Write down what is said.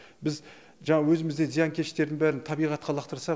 біз жаңағы өзіміздегі зиянкештердің бәрін табиғатқа лақтырсақ